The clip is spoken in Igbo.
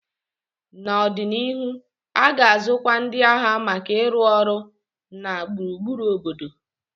N'ọdịnihu, a ga-azụkwu ndị agha maka ịrụ ọrụ na gburugburu obodo.